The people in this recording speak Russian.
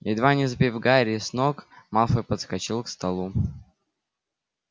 едва не сбив гарри с ног малфой подскочил к столу